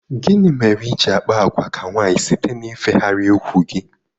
Gịnị mere iji àkpà àgwà ka nwaanyị site n'ifegharị úkwù gị?